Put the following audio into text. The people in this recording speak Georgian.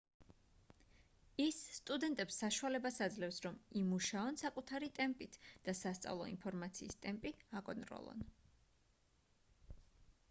ის სტუდენტებს საშუალებას აძლევს რომ იმუშაონ საკუთარი ტემპით და სასწავლო ინფორმაციის ტემპი აკონტროლონ